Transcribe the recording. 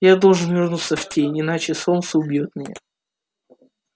я должен вернуться в тень иначе солнце убьёт меня